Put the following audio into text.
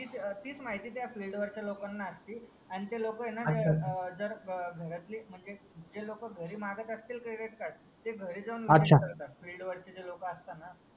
तीच तीच माहिती त्या फील्ड वरचा लोकांना असते आणि ते लोक ए ना जर घरातली म्हणजे ते लोक घरी मागत असतील क्रेडीट कार्ड ते घरी जाऊन ए करतात फील्ड वरची लोक असतात ना